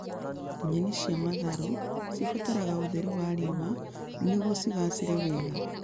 Nyeni cia matharũ cibataraga ũtheri wa riũa nĩguo cigaacĩre wega